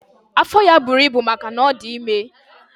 Afọ ya buru ibu maka na ọ dị ime.